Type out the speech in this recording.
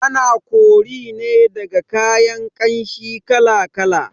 Ana kori ne daga kayan ƙanshi kala kala